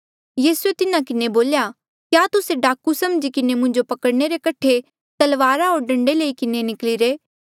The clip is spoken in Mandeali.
यीसूए तिन्हा किन्हें बोल्या क्या तुस्से डाकू समझी किन्हें मुंजो पकड़णे रे कठे तलवारा होर डंडे लई किन्हें निकली रे